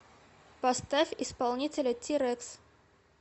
поставь исполнителя ти рекс